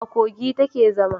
A Kogi ta ke zama